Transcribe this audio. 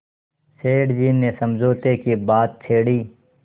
सेठ जी ने समझौते की बात छेड़ी